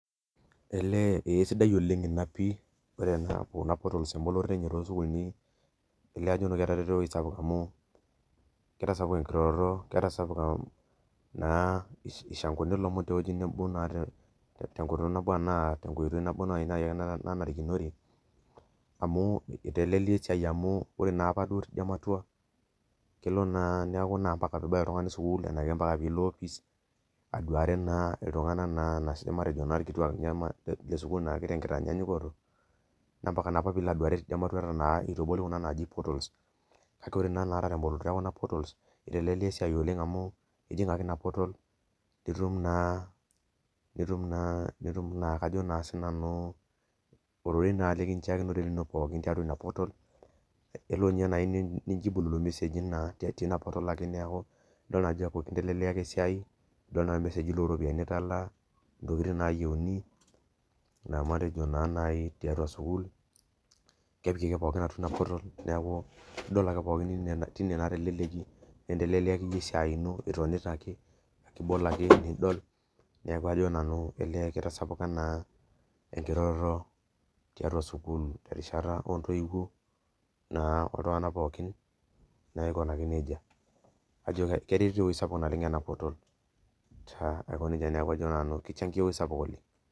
El esidai ina oleng amu ena portal to sukulini elio ajo etareto ewoi sapuk amu etasapuka naa irshanguni lomon tenkoitoi nabo nanarikinore amu itelelia esiai amu ore apa tinamurua na kenare pilo aduare ltunganak matejo ikituak lesukul tenkitanyanyukoto na ambaka na nilo aduare teina matua tenatoki naji portal ore na temboloto enaportals itelelia esiai amu ijing ake i aportal nitum ororei likinchakine tiatua inaportal eniyieu nijibu irmeseji tiatua ina portal nintelelia esiai nidil ntokitin nayieuni matejo tiatua sukul neakubidol ntokitin nayieuni tinewueji nikinteleliaki esiai ibol ake nidol neaku ajo nanu kitasapuka enkirroroto tiatua sukul na oltunganak pooki aikunaki nejia neaku ajo nanu kichangia ewoi sapuk ena portal